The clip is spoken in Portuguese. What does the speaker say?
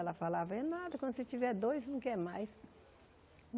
Ela falava, é nada, quando você tiver dois, não quer mais.